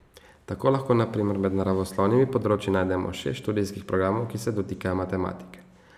Tako lahko na primer med naravoslovnimi področji najdemo šest študijskih programov, ki se dotikajo matematike.